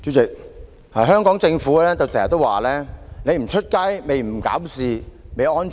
主席，香港政府經常說你不出街，你不搞事，你便會安全。